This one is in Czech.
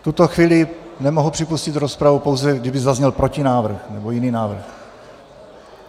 V tuto chvíli nemohu připustit rozpravu, pouze kdyby zazněl protinávrh nebo jiný návrh.